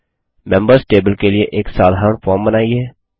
members table के लिए एक साधारण फॉर्म बनाइए